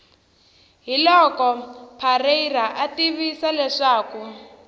hiloko parreira a tivisa leswaku